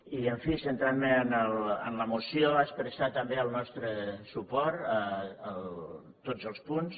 i en fi centrant me en la moció expressar també el nostre suport a tots els punts